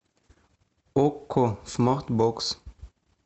окко смарт бокс